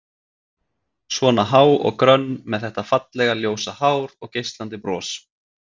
Svona há og grönn, með þetta fallega, ljósa hár og geislandi bros.